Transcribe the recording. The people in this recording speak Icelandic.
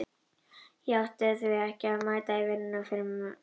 Ég átti ekki að mæta í vinnuna fyrr en um kvöldið.